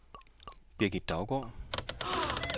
Birgit Daugaard